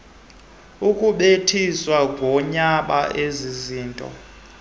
ukubethisa ngoyaba ezizinto